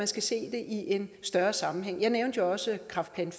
skal se det i en større sammenhæng jeg nævnte jo også kræftplan